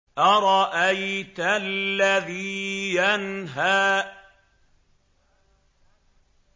أَرَأَيْتَ الَّذِي يَنْهَىٰ